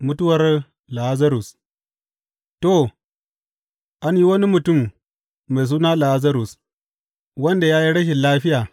Mutuwar Lazarus To, an yi wani mutum mai suna Lazarus wanda ya yi rashin lafiya.